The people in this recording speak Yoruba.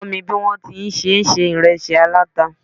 Kó mi bí wọn ti ń ṣe se ìresí aláta